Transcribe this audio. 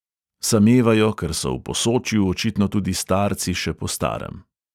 Samevajo, ker so v posočju očitno tudi starci še po starem.